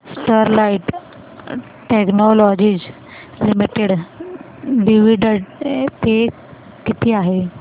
Sterlite Technologies Limited dividend pay किती आहे